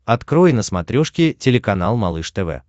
открой на смотрешке телеканал малыш тв